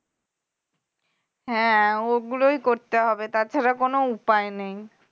হ্যাঁ ওগুলোই করতে হবে তা ছাড়া কোনও উপায় নেই